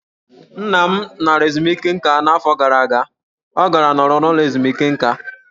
Nna m lara ezumike nká n'afọ gara aga, ọ gara nọrọ n'ụlọ ezumike nká.